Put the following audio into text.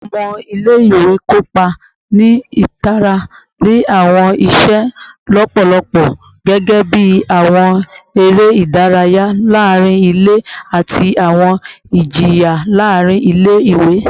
Awọn ọmọ ile-iwe kopa ni itara ni awọn iṣe lọpọlọpọ gẹgẹbi awọn ere idaraya laarin ile ati awọn ijiyan laarin ile-iwe